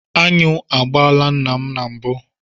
Aṅụ agbaala nna m mbụ.